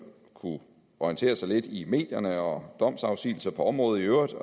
kunne orientere sig lidt i medierne og domsafsigelser på området i øvrigt så